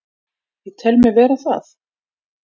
Ég tel mig vera það.